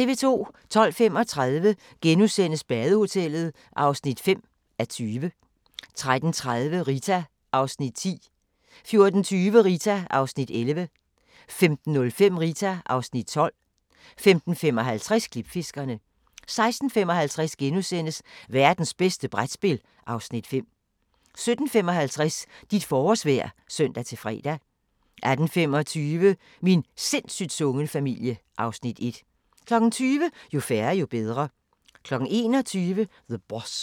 12:35: Badehotellet (5:20)* 13:30: Rita (Afs. 10) 14:20: Rita (Afs. 11) 15:05: Rita (Afs. 12) 15:55: Klipfiskerne 16:55: Værtens bedste brætspil (Afs. 5)* 17:55: Dit forårsvejr (søn-fre) 18:25: Min sindssygt sunde familie (Afs. 1) 20:00: Jo færre, jo bedre 21:00: The Boss